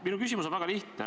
Minu küsimus on väga lihtne.